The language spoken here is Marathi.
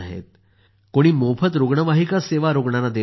कोणी मोफत रुग्णवाहिका सेवा रूग्णांना देत आहेत